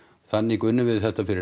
þannig unnum við þetta fyrir